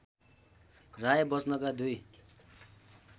राय बच्चनका दुई